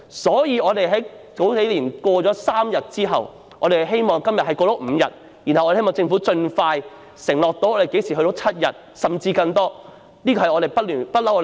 所以，繼數年前成功爭取3天侍產假後，我們希望今天能夠爭取增加至5天，進而希望政府盡快承諾可以增加至7天甚至更多，這是工聯會一直以來的要求。